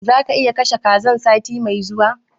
Zaka iya kashe kazan sati mai zuwa?